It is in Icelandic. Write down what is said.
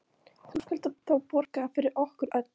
Nú skalt þú borga fyrir okkur öll.